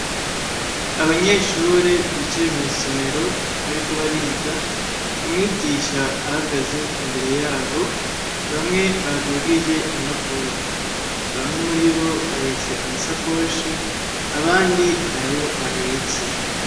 abanyeshure bicaye mw'isomero bariko bariga umwigisha ahagaze imbere yabo bamwe badugije impapuro, bamwe muri bo bahetse amasakoshi abandi ntayo bahetse.